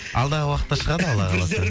алдағы уақытта шығады алла қаласа